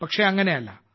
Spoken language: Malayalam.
പക്ഷേ അങ്ങനെയല്ല